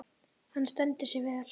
Hann stendur sig vel.